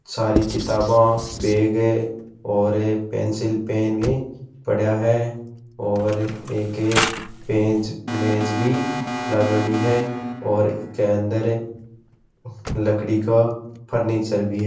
सारी किताबे बेग है और क पेन्सिल पेन पड़िया है और एक मेज भी लागेड़ी है और इसके अंदर लकड़ी का फर्नीचर भी है।